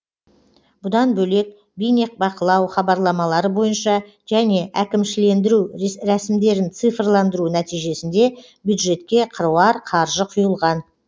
бұдан бөлек бейнебақылау хабарламалары бойынша және әкімшілендіру рәсімдерін цифрландыру нәтижесінде бюджетке қыруар қаржы құйылған